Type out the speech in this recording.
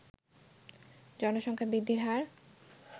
জনসংখ্যা বৃদ্ধির হার